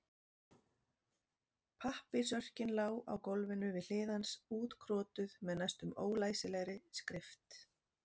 Pappírsörkin lá á gólfinu við hlið hans útkrotuð með næstum ólæsilegri skrift.